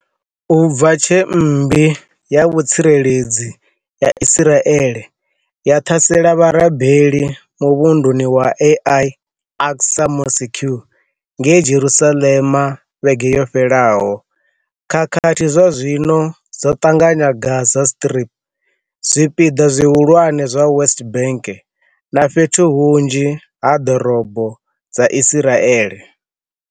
U bva tshe mmbi ya vhu tsireledzi ya Israeli ya ḓhase -la vharabeli muvhunduni wa Al Aqsa Mosque ngei Jerusalem vhege yo fhelaho, khakhathi zwazwino dzo ḓanganya Gaza Strip, zwi piḓa zwihulwane zwa West Bank na fhethu hunzhi ha ḓorobo dza Israeli.